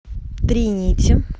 три нити